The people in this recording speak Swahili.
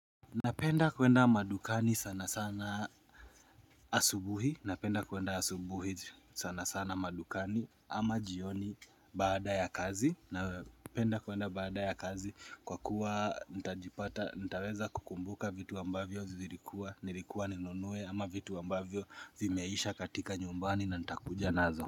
Napenda kuenda madukani sana sana asubuhi Napenda kuenda asubuhi sana sana madukani ama jioni baada ya kazi Napenda kuenda baada ya kazi kwa kuwa ntaweza kukumbuka vitu ambavyo zirikuwa Nilikuwa ni nunue ama vitu ambavyo zimeisha katika nyumbani na ntakuja nazo.